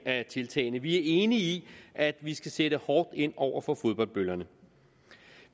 af tiltagene vi er enige i at vi skal sætte hårdt ind over for fodboldbøllerne